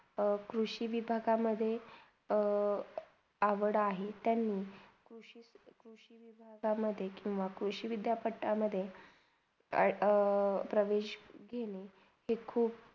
अ कृषी विधाका म्हणजे अ आवड आहे त्यांनी कृषी -कृषीविधातामधे किवा कृषी विध्यपठामधे अ ~अ प्रवेश घेणा हे खूप